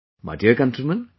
My dear countrymen,